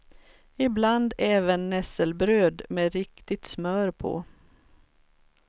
Ibland även nässelbröd med riktigt smör på.